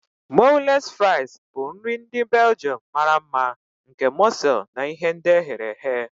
Moules fries bụ nri ndị Belgium mara mma nke mọsel na ihe ndi ehere ehe.